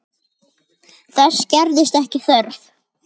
Þess gerðist ekki þörf.